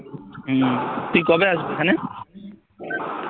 হম তুই কবে আসবি এখানে?